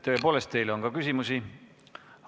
Tõepoolest, teile on ka küsimusi.